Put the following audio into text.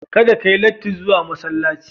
Kada ka yi latti zuwa masallaci.